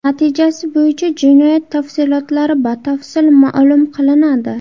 Natijasi bo‘yicha jinoyat tafsilotlari batafsil ma’lum qilinadi.